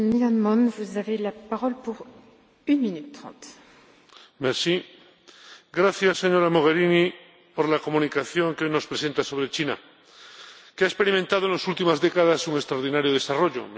Señora Presidenta, gracias, señora Mogherini, por la comunicación que nos presenta sobre China, que ha experimentado en las últimas décadas un extraordinario desarrollo.